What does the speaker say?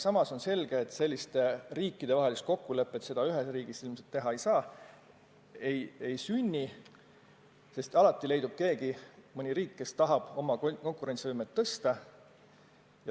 Samas on selge, et sellist riikidevahelist kokkulepet ilmselt teha ei saa, sest alati leidub mõni riik, kes tahab oma konkurentsivõimet tõsta.